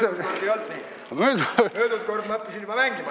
Möödunud aastal ma õppisin juba natukene mängima.